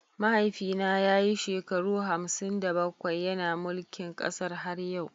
Mahaifina ya yi shekaru hamsin da bakwai yana mulkin kasar har yau.